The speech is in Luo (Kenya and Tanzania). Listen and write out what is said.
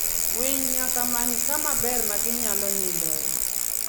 Winy nyaka many kama ber ma ginyalo nindoe.